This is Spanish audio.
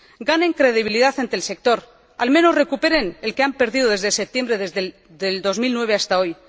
¡Ganen credibilidad ante el sector! Al menos, ¡recuperen la que han perdido desde septiembre del 2009 hasta hoy!